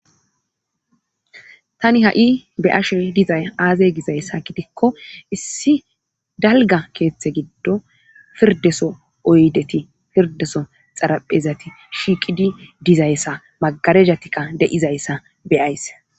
Tani ha7i be ashe dizay aaze gizayssa gidikko issi dalga keeththe giddo pirdeso oydeti pirdeso xaraphezati shiiqidi dizayssa magarejatikka deizayssa beyays.